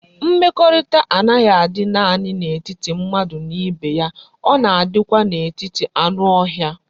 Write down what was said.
Mmekorita a naghi adi nani na etiti mmadu na ibe ya,o na adikwa na etiti anu ohia